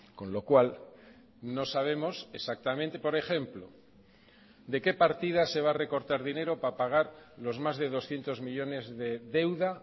con lo cual no sabemos exactamente por ejemplo de qué partidas se va a recortar dinero para pagar los más de doscientos millónes de deuda